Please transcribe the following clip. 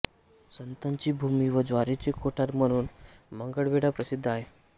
संताची भूमी व ज्वारीचे कोठार म्हणून मंगळवेढा प्रसिद्ध आहे